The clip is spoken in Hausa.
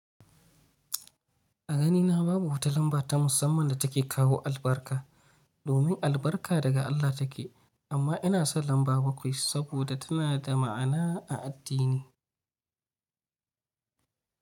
A ganina babu wata lamba ta musamman da take kawo albarka, domin albarka daga Allah take. Amma ina son lamba bakwai saboda tana da ma'ana a addini.